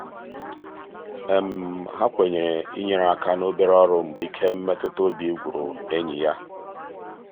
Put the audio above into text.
ha kwenyere inyere aka n'obere ọrụ mgbe ike mmetụtaobi gwụrụ enyi ya.